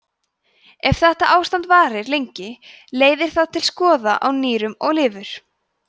ef þetta ástand varir lengi leiðir það til skaða á nýrum og lifur